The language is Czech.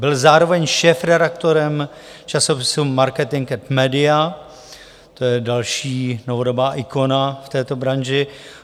Byl zároveň šéfredaktorem časopisu Marketing & Media, to je další novodobá ikona v této branži.